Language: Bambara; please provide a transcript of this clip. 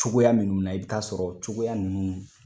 Cogoya minnu na i bɛ taa sɔrɔ cogoya ninnu